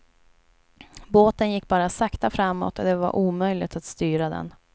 Båten gick bara sakta framåt och det var omöjligt att styra den.